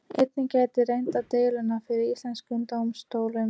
Einnig gæti reynt á deiluna fyrir íslenskum dómstólum.